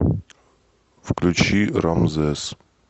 включи рамзес